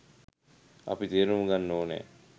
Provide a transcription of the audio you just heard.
අපි තේරුම් ගන්න ඕන